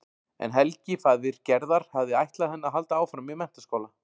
En Helgi faðir Gerðar hafði ætlað henni að halda áfram í menntaskóla.